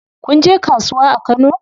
Kun je kasuwa a Kano?